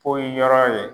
Poyi yɔrɔ ye